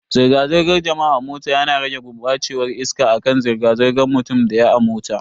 Zirga-zirgar jama'a a mota yana rage gurbacewar iska akan zirga zirgan mutum daya a mota.